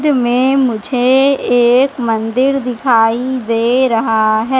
में मुझे एक मंदिर दिखाई दे रहा है।